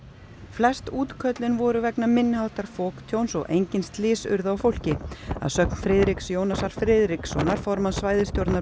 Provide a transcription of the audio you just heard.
flest útköllin voru vegna minni háttar foktjóns og engin slys urðu á fólki að sögn Friðriks Jónasar Friðrikssonar formanns svæðisstjórnar